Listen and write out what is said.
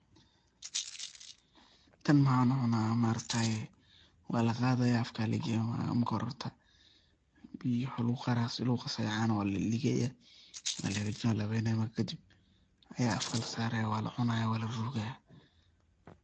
Tan maxaan u cuna maaragtaye waa laqadayaa afka lagenaya marka hore horta biyo iyo cano laguqasaya walalaligaya, walahagijanaya, walahabenaya marka kadib aya afka lasarayaa, walacunayaa walarugayaa.